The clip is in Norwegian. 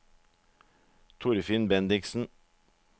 Torfinn Bendiksen